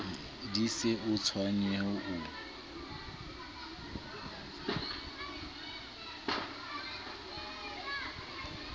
di se o tshwenye o